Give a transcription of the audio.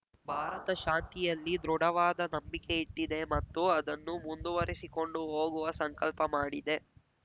ಭಾರತ ಶಾಂತಿಯಲ್ಲಿ ದೃಢವಾದ ನಂಬಿಕೆ ಇಟ್ಟಿದೆ ಮತ್ತು ಅದನ್ನು ಮುಂದುವರಿಸಿಕೊಂಡು ಹೋಗುವ ಸಂಕಲ್ಪ ಮಾಡಿದೆ